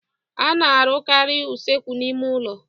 A na-arụkarị usekwu n'ime ụlọ.